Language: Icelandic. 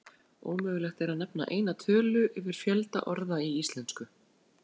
Ómögulegt er að nefna eina tölu yfir fjölda orða í íslensku.